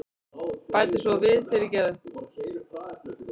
Bæti svo við, fyrirgefðu.